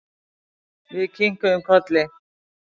Við kinkuðum kolli.